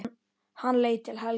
Hann leit til Helgu.